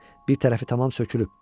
Bir tərəfi tamam sökülüb.